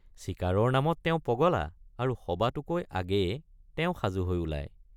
চিকাৰৰ নামত তেওঁ পগলা আৰু সবাতোকৈ আগেয়ে তেওঁ সাজু হৈ ওলায়।